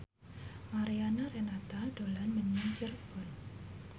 Mariana Renata dolan menyang Cirebon